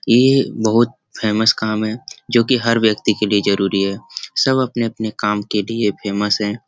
ये बहुत फेमस काम है जो कि हर व्यक्ति के लिए जरूरी है। सब अपने-अपने काम के लिए फेमस हैं।